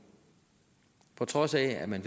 på trods af at man